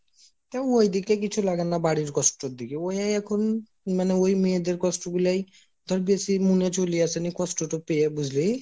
তা ঐদিকটা কিছু লাগেনা বাড়ির কষ্ট এর দিকে ওয়ে এখন ওই মেয়েদের কষ্ট গুলাই ধর বেশি মুনে চলি আসে নিয়ে কষ্টটা পেয়ে বুঝলি